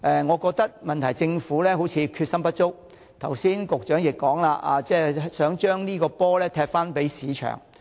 我認為，問題是政府決心不足，剛才局長亦提到，想將這個"波"踢給市場。